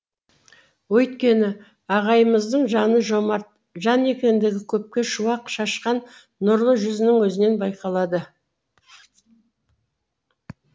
өйткені ағайымыздың жаны жомарт жан екендігі көпке шуақ шашқан нұрлы жүзінің өзінен байқалады